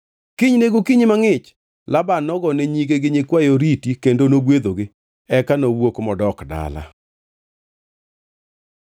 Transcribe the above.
Kiny ne gokinyi mangʼich, Laban nogone nyige gi nyikwaye oriti kendo nogwedhogi. Eka nowuok modok dala.